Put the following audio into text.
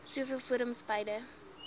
soveel forums beide